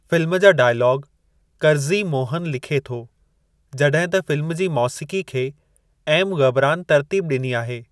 Film जा dialogue क़र्ज़ी मोहनु लिखे थो जॾहिं त फ़िल्म जी मोसीक़ी खे एम ग़बरान तरतीब ॾिनी आहे।